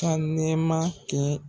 Ka nɛma kɛ